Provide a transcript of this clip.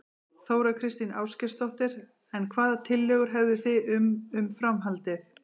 Þóra Kristín Ásgeirsdóttir: En hvaða tillögur hefðu þið um, um framhaldið?